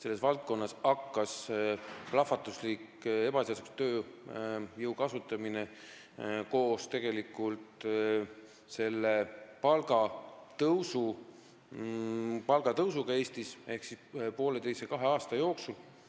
Ebaseadusliku tööjõu kasutamine on hakanud Eestis plahvatuslikult kasvama koos palgatõusuga ehk pooleteise-kahe aasta jooksul.